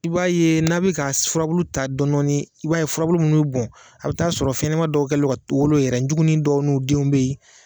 I b'a ye n'a bɛ ka furabulu ta dɔɔnin dɔɔnin i b'a ye furabulu minnu bɛ bɔn a bɛ t'a sɔrɔ fɛnɲɛnama dɔw kɛlen don ka wolo yen, juguni dɔw n'u denw bɛ yen.